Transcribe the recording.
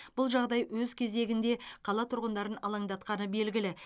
бұл жағдай өз кезегінде қала тұрғындарын алаңдатқаны белгілі